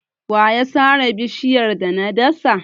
Wa ya sare bishiyar da na dasa?